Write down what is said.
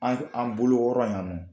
An an bolo kɔɔrɔ yan nɔ